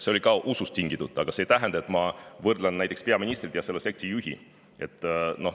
See oli ka usust tingitud, aga see ei tähenda, et ma võrdlen näiteks peaministrit ja selle sekti juhti.